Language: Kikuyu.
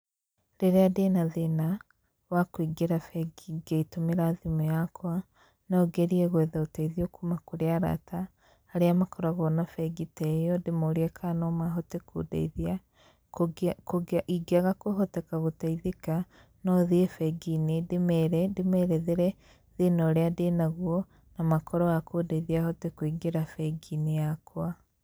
Rĩrĩa ndĩna thĩna, wa kũingĩra bengi ngĩtũmĩra thimũ yakwa, no ngerie gwetha ũteithio kuuma kũrĩ arata, arĩa makoragwo na bengi ta ĩyo ndĩmorie ka no mahote kũndeithia. Ingĩaga kũhoteka gũteithĩka, no thiĩ bengi-inĩ ndĩmere, ndĩmerethere thĩna ũrĩa ndĩnaguo, na makorwo a kũndeithia hote kũingĩra bengi-inĩ yakwa.